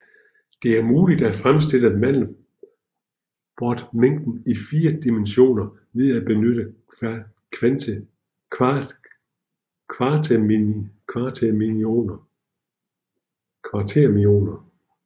Det er muligt at fremstille mandelbrotmængden i fire dimensioner ved at benytte kvaternioner